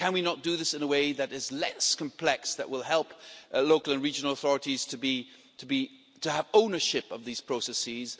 Can we not do this in a way that is less complex, that will help local and regional authorities to have ownership of these processes?